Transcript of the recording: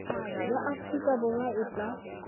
ya aforika borwa e tla